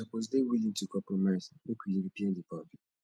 you suppose dey willing to compromise make we repair di bond